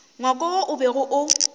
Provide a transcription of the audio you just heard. ngwako wo o bego o